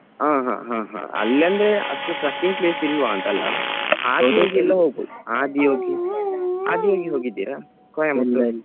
ಹ ಹ ಹ ಹಾ ಅಲ್ಲಿ ಅಂದ್ರೆ ಅಷ್ಟು trekking place ಇಲ್ವಾ ಅಂತ ಅಲ Adiyogi ಎಲ್ಲ ಹೋಗ್ಬೋದು Adiyogi ಹೋಗಿದ್ದೀರಾ Coimbatore .